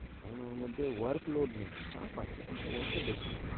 কারণ ওর মধ্যে workload নেই, চাপ আছে কিন্তু অটো বেশি নেই,